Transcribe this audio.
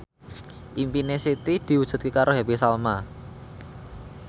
impine Siti diwujudke karo Happy Salma